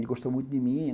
Ele gostou muito de mim.